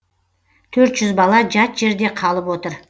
төрт жүз бала жат жерде қалып отыр